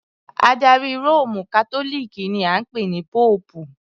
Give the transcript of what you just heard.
Adarí Róòmù Kátólíìkì ni a ń pè ní Póòpù.